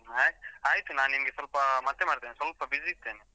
ಹಾ, ಆಯ್ತು ನಾನ್ ನಿಂಗೆ ಸ್ವಲ್ಪ ಮತ್ತೇ ಮಾಡ್ತೆನೆ ಸ್ವಲ್ಪ busy ಇದ್ದೇನೆ.